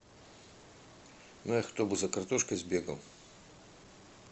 эх кто бы за картошкой сбегал